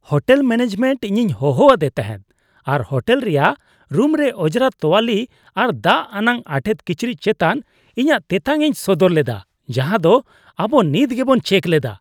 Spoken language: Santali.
ᱦᱳᱴᱮᱞ ᱢᱮᱱᱮᱡᱽᱢᱮᱱᱴ ᱤᱧ ᱦᱚᱦᱚ ᱟᱫᱮ ᱛᱟᱦᱮᱸᱫ ᱟᱨ ᱦᱳᱴᱮᱞ ᱨᱮᱭᱟᱜ ᱨᱩᱢᱨᱮ ᱚᱸᱡᱽᱨᱟ ᱛᱳᱣᱟᱞᱤ ᱟᱨ ᱫᱟᱜ ᱟᱱᱟᱜ ᱟᱴᱮᱫ ᱠᱤᱪᱨᱤᱡ ᱪᱮᱛᱟᱱ ᱤᱧᱟᱹᱜ ᱛᱮᱛᱟᱝᱼᱤᱧ ᱥᱚᱫᱚᱨ ᱞᱮᱫᱟ ᱡᱟᱦᱟᱸ ᱫᱚ ᱟᱵᱚ ᱱᱤᱛ ᱜᱮᱵᱚᱱ ᱪᱮᱠ ᱞᱮᱫᱟ ᱾